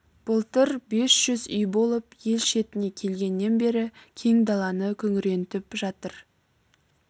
былтыр бес жүз үй болып ел шетіне келгеннен бері кең даланы күңірентіп жатыр